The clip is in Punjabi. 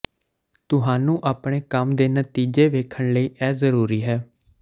ਤੁਹਾਨੂੰ ਆਪਣੇ ਕੰਮ ਦੇ ਨਤੀਜੇ ਵੇਖਣ ਲਈ ਇਹ ਜ਼ਰੂਰੀ ਹੈ